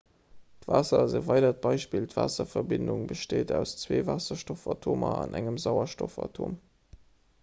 waasser ass e weidert beispill d'waasserverbindung besteet aus zwee waasserstoffatomer an engem sauerstoffatom